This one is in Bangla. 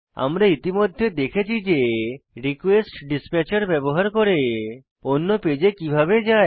আমরা ইতিমধ্যে দেখেছি যে রিকোয়েস্টডিসপ্যাচের ব্যবহার করে অন্য পেজে কিভাবে যায়